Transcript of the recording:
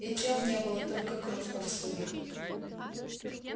и тел не было только кровь повсюду